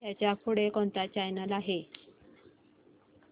ह्याच्या पुढे कोणता चॅनल आहे